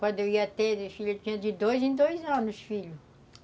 Quando eu ia ter, tinha de dois em dois anos, filho.